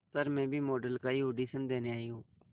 sir मैं भी model का ही ऑडिशन देने आई हूं